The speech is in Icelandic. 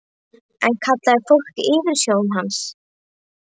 En það kallaði fólk yfirsjón hans.